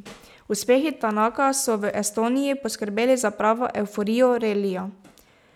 Uspehi Tanaka so v Estoniji poskrbeli za pravo evforijo relija.